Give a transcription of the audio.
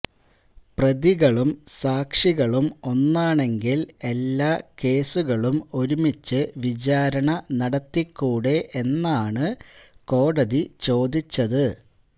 പ്രതികളും സാക്ഷികളും ഒന്നാണെങ്കില് എല്ലാ കേസുകളും ഒരുമിച്ച് വിചാരണ നടത്തിക്കൂടെ എന്നാണ് കോടതി ചോദിച്ചത്